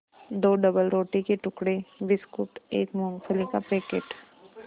दो डबलरोटी के टुकड़े बिस्कुट एक मूँगफली का पैकेट